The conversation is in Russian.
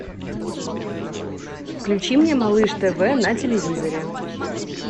включи мне малыш тв на телевизоре